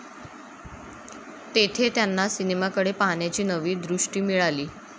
तेथे त्यांना सिनेमाकडे पाहण्याची नवी दृष्टी मिळाली.